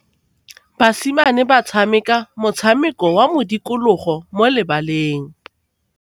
Basimane ba tshameka motshameko wa modikologô mo lebaleng.